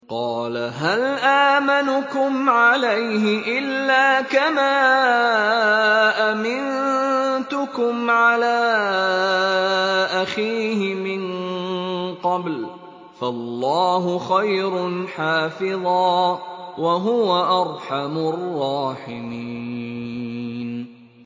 قَالَ هَلْ آمَنُكُمْ عَلَيْهِ إِلَّا كَمَا أَمِنتُكُمْ عَلَىٰ أَخِيهِ مِن قَبْلُ ۖ فَاللَّهُ خَيْرٌ حَافِظًا ۖ وَهُوَ أَرْحَمُ الرَّاحِمِينَ